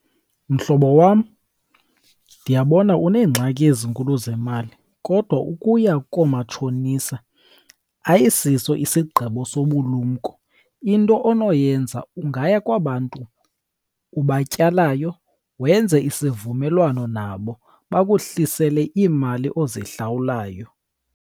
Mhlobo wam, ndiyabona uneengxaki ezinkulu zemali kodwa ukuya koomatshonisa ayisiso isigqibo sobulumko. Into onoyenza ungaya kwabantu ubatyalayo wenze isivumelwano nabo bakohlisele iimali ozihlawulayo.